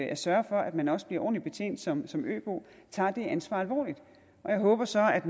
at sørge for at man også bliver ordentligt betjent som som øbo tager det ansvar alvorligt og jeg håber så at